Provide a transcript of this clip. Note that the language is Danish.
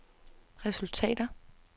resultater